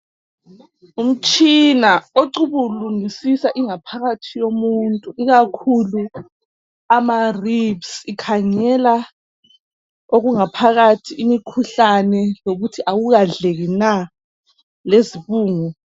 Umtshina ocubulungusisa ingaphakathi yomuntu ikakhulu ama ribs, ikhangela okungaphakathi, imikhuhlane lokuthi awukadleki na, lezibungu.